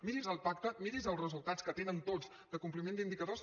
miri’s el pacte miri’s els resultats que tenen tots de compliment d’indicadors